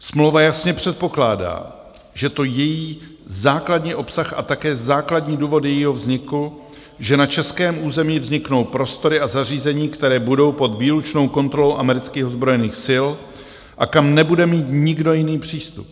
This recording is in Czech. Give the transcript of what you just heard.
Smlouva jasně předpokládá, a to je její základní obsah a také základní důvody jejího vzniku, že na českém území vzniknou prostory a zařízení, které budou pod výlučnou kontrolou amerických ozbrojených sil a kam nebude mít nikdo jiný přístup.